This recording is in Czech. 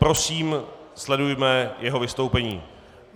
Prosím, sledujme jeho vystoupení.